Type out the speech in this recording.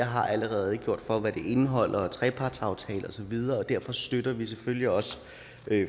har redegjort for hvad det indeholder herunder trepartsaftaler og så videre derfor støtter vi selvfølgelig også